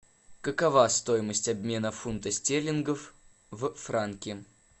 какова стоимость обмена фунтов стерлингов в франки